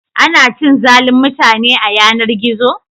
Ana cin zalin mutane a yanar-gizo?